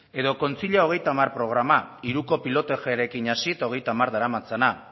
edo kontzilia hogeita hamar programa hiruko pilotajearekin hasi eta hogeita hamar daramatzana